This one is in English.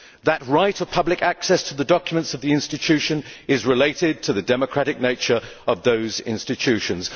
That right of public access to the documents of the institution is related to the democratic nature of those institutions.'